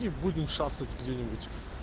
и будем шастать где-нибудь